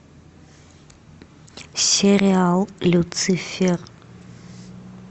сериал люцифер